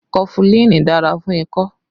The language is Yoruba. Kofulin dára fún ikọ́